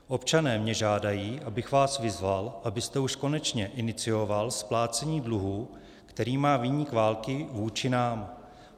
Občané mě žádají, abych vás vyzval, abyste už konečně inicioval splácení dluhů, který má viník války vůči nám.